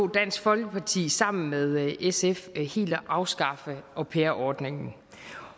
dansk folkeparti sammen med sf helt at afskaffe au pair ordningen